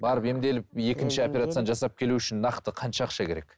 барып емделіп екінші операцияны жасап келу үшін нақты қанша ақша керек